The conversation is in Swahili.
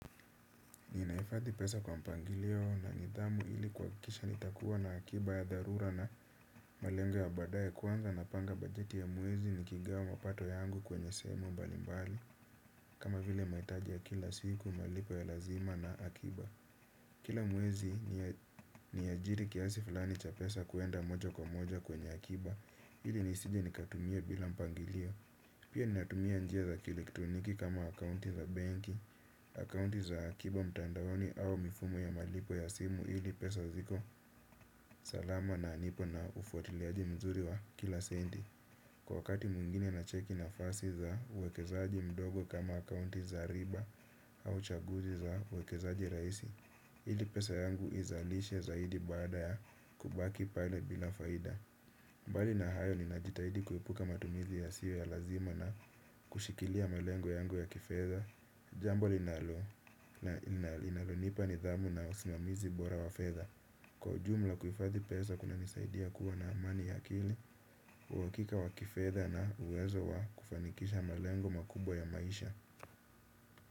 Ninaifadhi pesa kwa mpangilio na nidhamu ili kuakikisha nitakuwa na akiba ya dharura na malengo ya badaye kwanza napanga bajeti ya mwezi nikigawa mapato yangu kwenye sehemu mbalimbali kama vile maitaji ya kila siku malipo ya lazima na akiba. Kila mwezi ni ajiri kiasi falani cha pesa kuenda moja kwa moja kwenye akiba. Hili nisije nikatumia bila mpangilio. Pia niatumia njia za kielektroniki kama akaunti za benki. Akaunti za akiba mtandaoni au mifumo ya malipo ya simu ili pesa ziko salama na nipo na ufuatiliaji mzuri wa kila sendi. Kwa wakati mwingine nacheki nafasi za uwekezaji mdogo kama akaunti za riba au chaguzi za uwekezaji raisi. Hili pesa yangu izalishe zaidi baada ya kubaki pale bila faida. Mbali na hayo ninajitahidi kuepuka matumizi yasiyo ya lazima na kushikilia malengo yangu ya kifedha. Jambo linalonipa nidhamu na usimamizi bora wa fedha. Kwa ujumla kuhifadhi pesa kunanisaidia kuwa na amani ya akili. Uakika wa kifedha na uwezo wa kufanikisha malengo makubwa ya maisha.